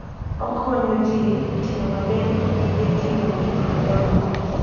Okonyo ji tiyo maber gi gige ting'o gik madongo.